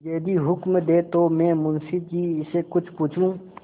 यदि हुक्म दें तो मैं मुंशी जी से कुछ पूछूँ